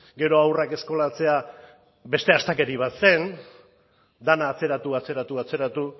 gero haurrak eskolatzea beste astakeria bat zen dena atzeratu atzeratu atzeratu